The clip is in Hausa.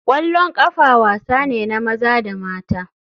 Kwallon kafa wasa ne na maza da mata.